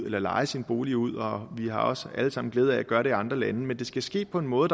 eller leje sin bolig ud og vi har også alle sammen glæde af at gøre det i andre lande men det skal ske på en måde